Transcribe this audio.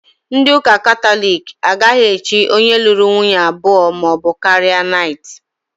Ndị ụ́kà Kataloki agaghị èchí onye lụrụ nwunye abụọ maọbụ karịa naịtị.